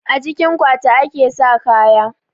A cikin akwati ake sa kaya